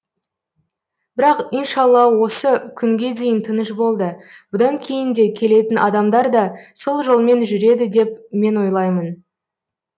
бірақ иншалла осы күнге дейін тыныш болды бұдан кейін де келетін адамдар да сол жолмен жүреді деп мен ойлаймын